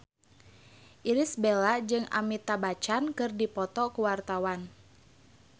Irish Bella jeung Amitabh Bachchan keur dipoto ku wartawan